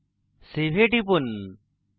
save এ টিপুন